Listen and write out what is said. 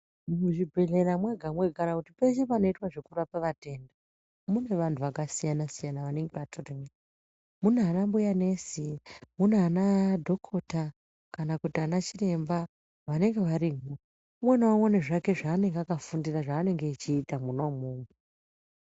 Muzvi bhedhlera mwega mwega kana kuti peshe panoitwa zveku rapwa vatenda mune vantu aka siyana siyana vanenge vatorimo muna ana mbuya nesi muna ana dhokota kana kuti ana chiremba vanege varimo umwe na umwe une zvake zvaanenge aka fundira zva anenge eiiti mwona imwomwo .